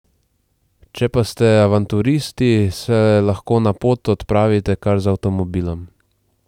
Če pa ste avanturisti, se lahko na pot odpravite kar z avtomobilom.